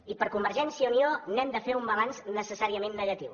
i per convergència i unió n’hem de fer un balanç necessàriament negatiu